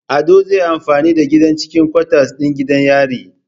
Ado zai yi amfani da gidan cikin kwatas din gidan yari